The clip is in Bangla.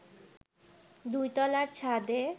দুই তলার ছাদে